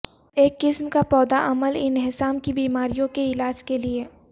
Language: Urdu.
ایک قسم کا پودا عمل انہضام کی بیماریوں کے علاج کے لئے